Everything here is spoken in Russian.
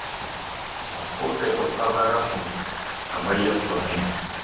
а сколько этот самый рафтинг обойдется мне